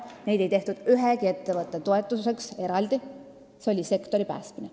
Neid ei tehtud ühegi ettevõtte toetamiseks eraldi, see oli sektori päästmine.